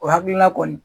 O hakilina kɔni